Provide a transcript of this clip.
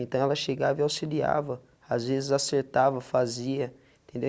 Então, ela chegava e auxiliava, às vezes acertava, fazia, entendeu?